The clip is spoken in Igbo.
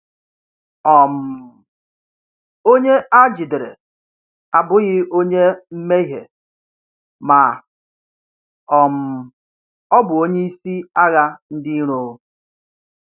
um Onye a jidere abụghị onye mmehie ma um ọ bụ onye isi agha ndị iro.